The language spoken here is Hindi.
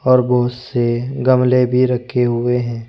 और बहुत से गमले भी रखे हुए हैं।